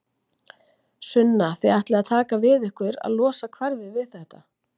Sunna: Þið ætlið að taka að ykkur að losa hverfið við þetta?